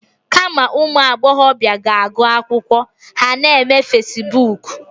Kama ụmụ agbọbịa ga-agụ akwụkwọ, ha na-eme fasibuuku.